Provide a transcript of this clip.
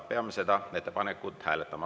Peame seda ettepanekut hääletama.